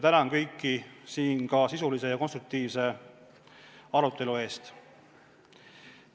Tänan kõiki sisulise ja konstruktiivse arutelu eest!